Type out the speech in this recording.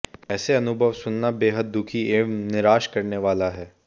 ऐसे अनुभव सुनना बेहद दुखी एवं निराश करने वाला है